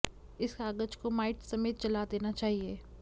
इस कागज को माइट समेत जला देना चाहिए